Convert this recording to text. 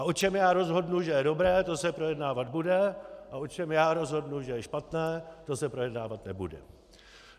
A o čem já rozhodnu, že je dobré, to se projednávat bude, a o čem já rozhodnu, že je špatné, to se projednávat nebude.